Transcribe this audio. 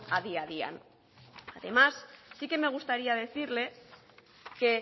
adi adian además sí que me gustaría decirle que